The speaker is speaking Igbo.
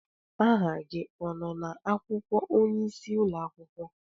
Aha gị ọ nọ na-akwụkwọ onyeisi ụlọakwụkwọ?